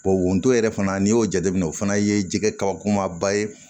wotoro yɛrɛ fana n'i y'o jateminɛ o fana ye jɛgɛ kabakomaba ye